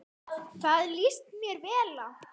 Það líst mér vel á.